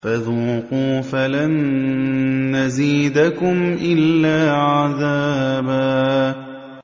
فَذُوقُوا فَلَن نَّزِيدَكُمْ إِلَّا عَذَابًا